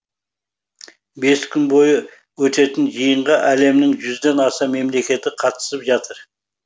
бес күн бойы өтетін жиынға әлемнің жүзден аса мемлекеті қатысып жатыр